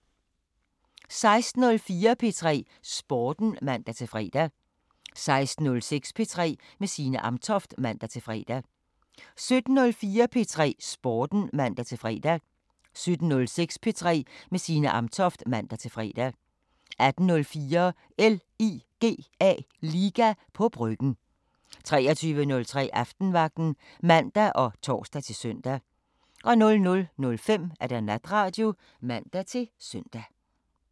16:04: P3 Sporten (man-fre) 16:06: P3 med Signe Amtoft (man-fre) 17:04: P3 Sporten (man-fre) 17:06: P3 med Signe Amtoft (man-fre) 18:04: LIGA på Bryggen 23:03: Aftenvagten (man og tor-søn) 00:05: Natradio (man-søn)